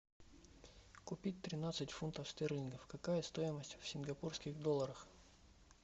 купить тринадцать фунтов стерлингов какая стоимость в сингапурских долларах